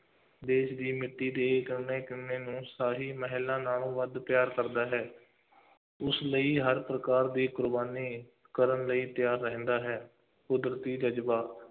ਦੇਸ਼ ਦੀ ਮਿੱਟੀ ਦੀ ਕਣ-ਕਣ ਨੂੰ ਸਾਰੀ ਮਹਿਲਾਂ ਨਾਲੋਂ ਵੱਧ ਪਿਆਰ ਕਰਦਾ ਹੈ ਉਸ ਲਈ ਹਰ ਪ੍ਰਕਾਰ ਦੀ ਕੁਰਬਾਨੀ ਕਰਨ ਲਈ ਤਿਆਰ ਰਹਿੰਦਾ ਹੈ, ਕੁਦਰਤੀ ਜ਼ਜ਼ਬਾ,